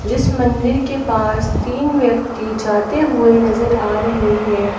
जिस मंदिर के पास थीं व्यक्ति जाते हुवे नजर आ रहे हैं।